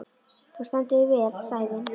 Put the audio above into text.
Þú stendur þig vel, Sævin!